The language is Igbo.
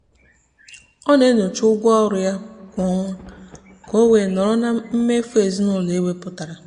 ọ na-enyocha ụgwọ ọrụ ya kwa ọnwa ka o wee nọrọ na mmefu ezinụụlọ e wepụtara.